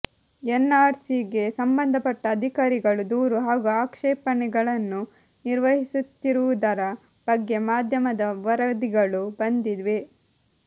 N R C ಗೆ ಸಂಬಂಧಪಟ್ಟ ಅಧಿಕಾರಿಗಳು ದೂರು ಹಾಗೂ ಆಕ್ಷೇಪಣೆಗಳನ್ನು ನಿರ್ವಹಿಸುತ್ತಿರುವುದರ ಬಗ್ಗೆ ಮಾಧ್ಯಮದ ವರದಿಗಳು ಬಂದಿವೆ